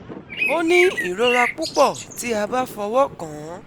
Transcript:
Ó ní ìrora púpọ̀ tí a bá fọwọ́ kàn án